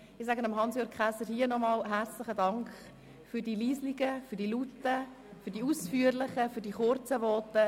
Ich bedanke mich an dieser Stelle nochmals herzlich bei Regierungsrat Käser für seine leisen, lauten, ausführlichen und kurzen Voten.